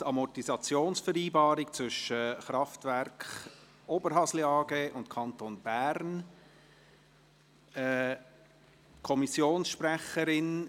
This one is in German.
«Amortisationsvereinbarung zwischen der Kraftwerke Oberhasli AG und dem Kanton Bern [